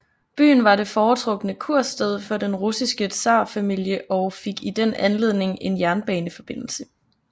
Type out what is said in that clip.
Byen var det foretrukne kursted for den russiske tsarfamilie og fik i den anledning en jernbaneforbindelse